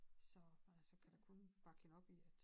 Så men altså kan da kun bakke hende op i at